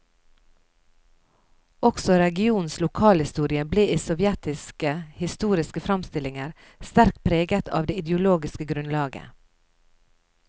Også regionens lokalhistorie ble i sovjetiske historiske framstillinger sterkt preget av det ideologiske grunnlaget.